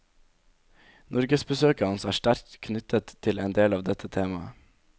Norgesbesøket hans er sterkt knyttet til en del av dette temaet.